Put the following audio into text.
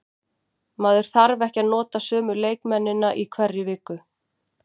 Maður þarf ekki að nota sömu leikmennina í hverri viku.